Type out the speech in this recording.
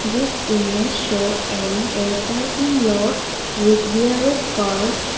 this image show a parking lots with various cars.